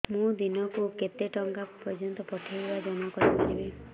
ମୁ ଦିନକୁ କେତେ ଟଙ୍କା ପର୍ଯ୍ୟନ୍ତ ପଠେଇ ବା ଜମା କରି ପାରିବି